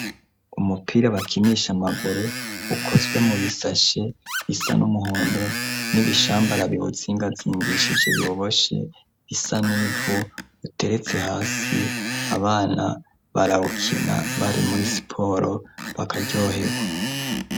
umupira bakinisha amaguru ukozwe mu bisashe bisa n'umuhondo n'ibishambara bihutsingazingishije biboshe bisanivu uteretse hasi abana barawukina bari muri siporo bakaryohegwa